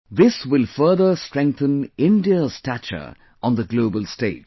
This will further strengthen India's stature on the global stage